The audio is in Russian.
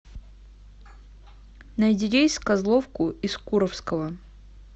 найди рейс в козловку из куровского